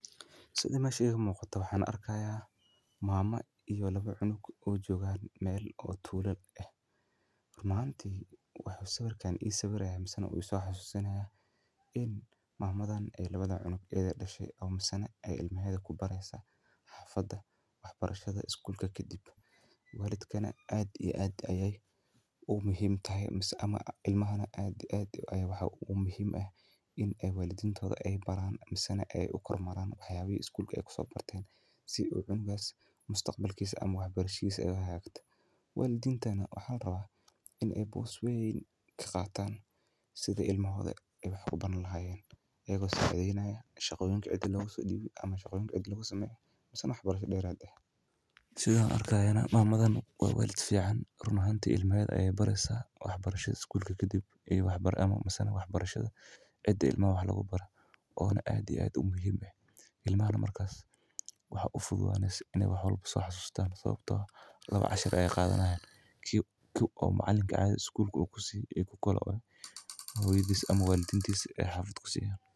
Sida meesha iiga muuqato waxaan arki haaya maamo iyo laba cunug oo jooga meel tuula ah waxaan arkaaya mamada in hoyadooda aay wax bareyso aad iyo aad ayeey muhiim utahay in walidka uu wax baro ilmaha mise wixi lasoo bare ama wax cusub ama wixi ladehe kasoo shaqee ilmaha waxa u fududaneysa inuu wax barto laba cashir midka macalinka iyo midka walidka.